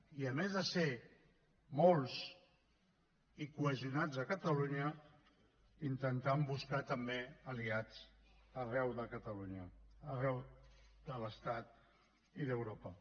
i a més de ser molts i cohesionats a catalunya intentant buscar també aliats arreu de catalunya arreu de l’estat i d’europa